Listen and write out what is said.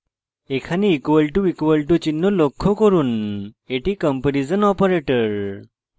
এখানে == চিহ্ন লক্ষ্য করুন এটি comparison কম্পেরিজন operator